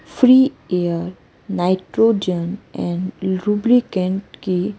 free air और nitrogen and lubricant के--